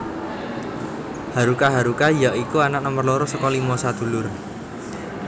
Haruka haruka ya iku anak nomer loro saka limo sadulur